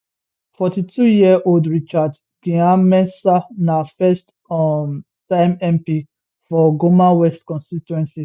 42 year old richard gyanmensah na first um time mp for goma west constituency